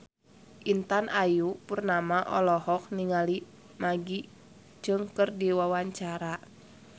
Intan Ayu Purnama olohok ningali Maggie Cheung keur diwawancara